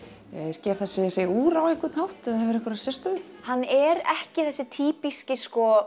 sker þessi sig úr á einhvern hátt eða hefur einhverja sérstöðu hann er ekki þessi týpíski